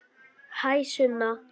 Hæ, Sunna.